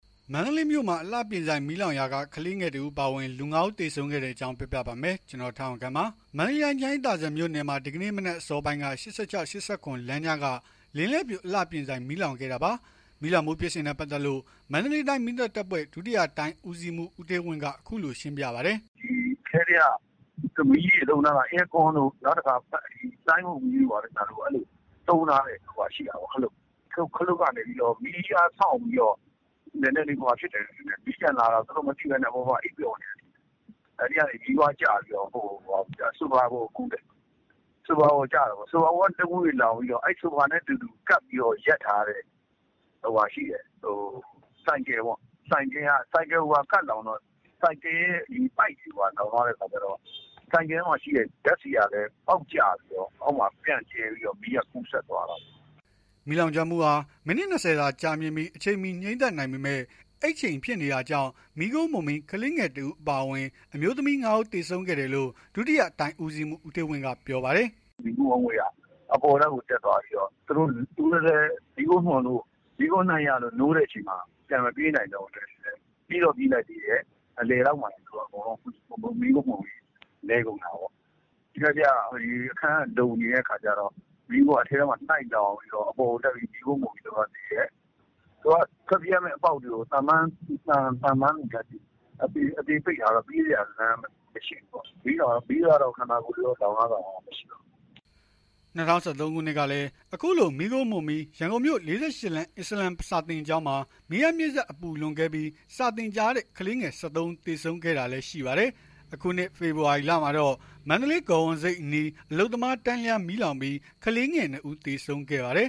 မန္တလေးမြို့မှာ အလှပြင်ဆိုင် မီးလောင်ရာက ကလေးငယ်တဦးပါအဝင် လူ ၅ ဦးသေဆုံးခဲ့တဲ့ အကြောင်းကို ဗွီအိုအေမြန်မာပိုင်း သတင်းထောက် ကိုထက်အောင်ခန့်က ပြောပြပါမယ်။ မန္တလေးတိုင်း ချမ်းအေးသာစံမြို့နယ်မှာ ဒီကနေ့ မနက်အစောပိုင်းက ၈၆x၈၇ လမ်းကြားက လင်းလဲ့ဖြူ အလှပြင်ဆိုင်မီးလောင်ခဲ့တာပါ။ မီးလောင်မှုဖြစ်စဉ်နဲ့ ပတ်သက်လို့ မီးသတ်တပ်ဖွဲ့ ဒုတိယတိုင်းဦးစီးမှူး ဦးဌေးဝင်းက အခုလို ရှင်းပြပါတယ်။ “အထဲက မီးတွေသုံးထားတာ အဲကွန်းတို့ ဆိုင်းဘုတ်မီးတို့ သုံးထားတဲ့ဟာ ရှိတာပေါ့။ ခလုတ်ကနေပြီးတော့ မီးအားဆောင့်ပြီးတော့ မီးပြန်လာတာကို မသိဘဲ အပေါ်မှာ သူတို့အိပ်ပျော်နေတယ်ထင်တယ်။ အဲ့ကနေ မီးပွားကျပြီးတော့ ဆိုဖာပေါ်ကူးတယ်။ ဆိုဖာက တငွေ့ငွေ့လောင်ပြီးတော့ ဆိုဖာနဲ့ အတူကပ်ပြီး ရပ်ထားတဲ့ ဆိုင်ကယ်ရှိတယ်။ ဆိုင်ကယ်ရဲ့ ပိုက်တွေပါ လောင်ထားတဲ့ အခါကျတော့ ဆိုင်ကယ်ထဲက ဓာတ်ဆီကလည်း အောက်ကျပြီး အောက်မှာ ပြန့်ကျဲပြီး မီးက ကူးစက်သွားတာပေါ့။" မီးလောင်ကျွမ်းမှုဟာ မိနစ် ၂၀ သာကြာမြင့်ပြီး အချိန်မီ ငြိမ်းသတ်နိုင်ပေမဲ့ အိပ်ချိန်ဖြစ်နေတာကြောင့် မီးခိုးမွှန်ပြီး ကလေးငယ်တစ်ဦး အပါအဝင် အမျိုးသမီး ၅ ဦး သေဆုံးခဲ့တယ်လို့ ဒုတိယတိုင်း ဦးစီးမှူး ဦးဌေးဝင်းကပြောပါတယ်။ “မီးခိုးငွေ့က အပေါ်ထပ်ကို တက်သွားပြီးတော့ သူတို့လည်း မီးခိုးမွှန်လို့ မီးခိုးနံ့ရလို့ နိုးတဲ့အချိန်မှာ ပြေးတော့ ပြေးလိုက်သေးတယ်။ အလယ်လောက်မှာ မီးခိုးမွှန်ပြီး လဲကုန်တာပေါ့။ အခန်းက လုံတဲ့အခါကျတော့ မီးခိုးက အထဲမှာ လှိုက်လောင်နေတော့ မီးခိုးမွှန်ပြီး သူတို့ကသေတယ်။ သူတို့ကထွက်ပြေးရမယ့် အပေါက်တွေကို သံပန်းတွေနဲ့ အသေပိတ်ထားတော့ ပြေးစရာလမ်းမရှိဘူးပေါ့။ မီးကတော့ ခန္ဓာကိုယ်တွေ လောင်ထားတာတော့ မရှိပါဘူး။” ၂၀၁၃ ခုနှစ်ကလည်း အခုလိုမီးခိုးမွှန်ပြီး ရန်ကုန်မြို့ ၄၈ လမ်း အစ္စလာမ် စာသင်ကျောင်းမှာ မီးအားမြှင့်စက် အပူလွန်ကဲပြီး စာသင်ကြားတဲ့ ကလေးငယ် ၁၃ ဦးသေဆုံးခဲ့တာလည်းရှိပါတယ်။ အခုနှစ် ဖေဖော်ဝါရီလမှာတော့ မန္တလေး ဂေါဝန်ဆိပ်အနီးမှာ အလုပ်သမား တန်းလျားမီးလောင်ပြီး ကလေးငယ် ၂ ဦး သေဆုံးခဲ့ပါသေး